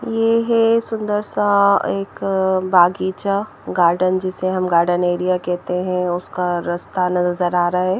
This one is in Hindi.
ये हे सुंदर सा एक बगीचा गार्डन जिसे हम गार्डन एरिया कहते हैं उसका रास्ता नजर आ रहा हैं।